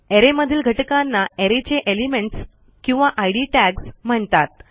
अरे मधील घटकांना अरे चे एलिमेंट्स किंवा इद टॅग्स म्हणतात